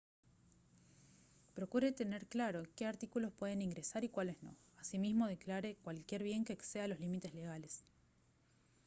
procure tener claro qué artículos pueden ingresar y cuáles no asimismo declare cualquier bien que exceda los límites legales